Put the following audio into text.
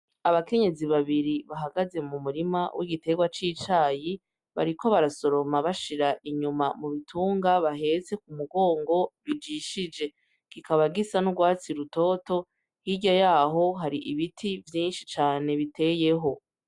Abakenyezi babiri bahagaze mu murima w'igiterwa c'icayi bariko barasoroma bashira inyuma mu bitunga baheze ku mugongo bijishije gikaba gisa n'urwatsi rutoto hirya yaho hari ibiti vyinshi cane biteyeho.